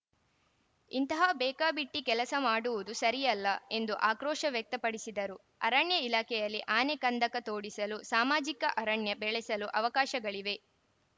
ಇಂತಹ ಬೇಕಾಬಿಟ್ಟಿಕೆಲಸ ಮಾಡುವುದು ಸರಿಯಲ್ಲ ಎಂದು ಅಕ್ರೋಶ ವ್ಯಕ್ತ ಪಡಿಸಿದರು ಅರಣ್ಯ ಇಲಾಖೆಯಲ್ಲಿ ಆನೆ ಕಂದಕ ತೋಡಿಸಲು ಸಾಮಾಜಿಕ ಅರಣ್ಯ ಬೆಳೆಸಲು ಅವಕಾಶಗಳಿವೆ